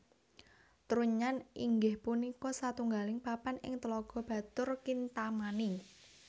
Trunyan inggih punika satunggaling papan ing Tlaga Batur Kintamani